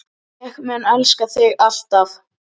Ég mun elska þig ávallt.